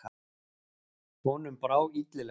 Honum brá illilega.